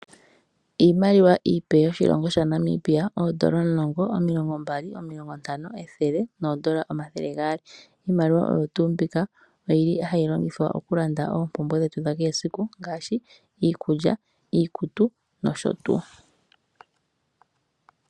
Iimaliwa iipe yoshilongo sha Namibia. Oodola omulongo, omilongo mbali nomilongo ntano, ethele noodola omathele gaali. Iimaliwa oyo tuu mbika oyili hayi longithwa oku landa oompumbwe dhetu dha kehe esiku ngaashi iikulya, iikutu nosho tuu.